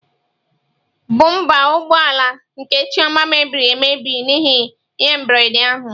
Bụmba ụgbọ ala nke Chioma mebiri emebi n'ihi ihe mberede ahụ.